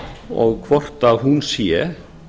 og hvort hún sé